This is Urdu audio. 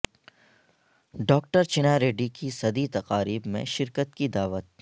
ڈاکٹر چنا ریڈی کی صدی تقاریب میں شرکت کی دعوت